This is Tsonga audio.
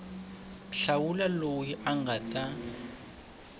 hlawula loyi a nga ta